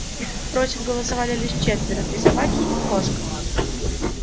против голосовали лишь четверо три собаки и кошка